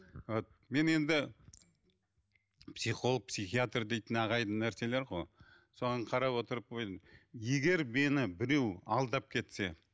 мен енді психолог психиатр дейтін ағайынды нәрселер ғой соған қарап отырып өзім егер мені біреу алдап кетсе